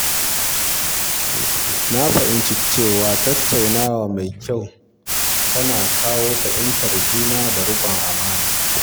Na fahimci cewa tattaunawa mai kyau tana kawo fahimtar juna da riƙon amana.